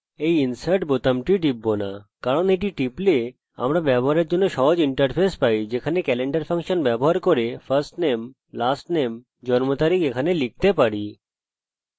আমি এই insert বোতামটি টিপব না কারণ এই বোতামটি টিপলে আমরা ব্যবহারের জন্য সহজ ইন্টারফেস পাই যেখানে আমরা ক্যালেন্ডার ফাংশন ব্যবহার করে firstname lastname জন্ম তারিখ এখানে লিখতে পারি